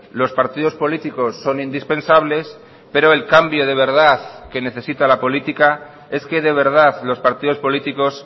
los partidos políticos son indispensables pero el cambio de verdad que necesita la política es que de verdad los partidos políticos